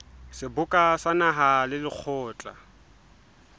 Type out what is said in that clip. seboka sa naha le lekgotla